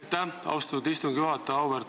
Aitäh, austatud istungi juhataja!